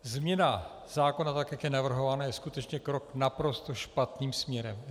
Změna zákona, tak jak je navrhována, je skutečně krok naprosto špatným směrem.